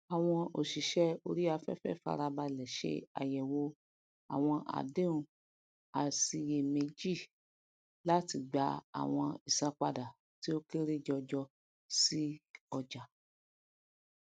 àwọn òsìsè orí afẹfẹ farabalẹ se àyẹwò àwọn àdéhùn àṣìyèméjì láti gba àwọn ìsanpada tí o kéré jọjọ si ọjà